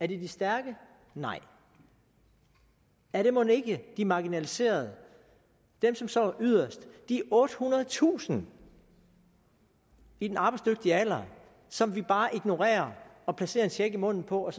de stærke nej er det mon ikke de marginaliserede dem som står yderst de ottehundredetusind i den arbejdsdygtige alder som vi bare ignorerer og placerer en check i munden på og